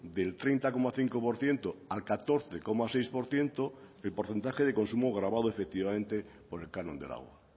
del treinta coma cinco por ciento al catorce coma seis por ciento el porcentaje de consumo gravado efectivamente por el canon del agua